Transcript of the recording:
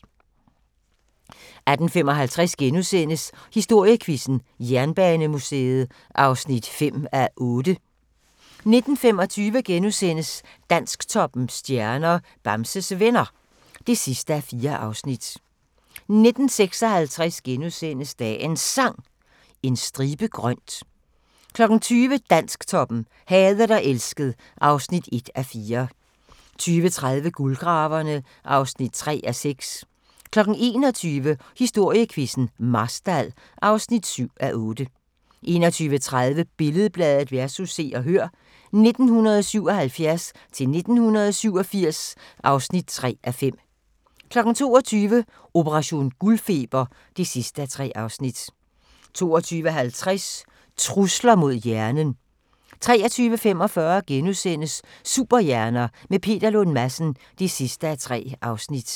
18:55: Historiequizzen: Jernbanemuseet (5:8)* 19:25: Dansktoppens stjerner: Bamses Venner (4:4)* 19:56: Dagens Sang: En stribe grønt * 20:00: Dansktoppen: Hadet og elsket (1:4) 20:30: Guldgraverne (3:6) 21:00: Historiequizzen: Marstal (7:8) 21:30: Billed-Bladet vs. Se og Hør (1977-1987) (3:5) 22:00: Operation guldfeber (3:3) 22:50: Trusler mod hjernen 23:45: Superhjerner – med Peter Lund Madsen (3:3)*